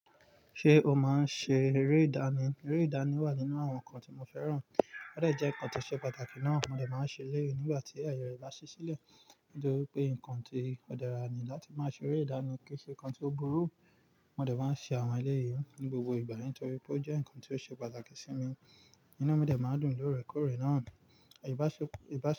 Ṣé o máa ń ṣe eré ìdáná? Eré ìdáná wà nínú àwọn nǹkan tí mo fẹ́ràn. Ó dejẹ́ nǹkan tó ṣe pàtàkì náà. Mo dẹ̀ máa ń ṣe eleyìí nígbà tí ayẹ rẹ bá ṣí sílẹ̀, nítori wipe nǹkan tí ó dára ni láti máa ṣe eré ìdáná kí ṣe nǹkan tó burú. Mo dẹ̀ máa ń ṣe àwọn eleyìí ní gbogbo ìgbà nítorí pé ó jẹ́ nǹkan tó ṣe pàtàkì sí mi. Inú mi dẹ̀ máa ń dùn lóorekoore náà. Ìbáṣepọ̀